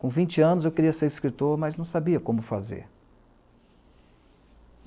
Com vinte anos, eu queria ser escritor, mas não sabia como fazer.